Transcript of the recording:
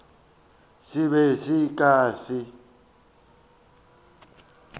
se be se ka se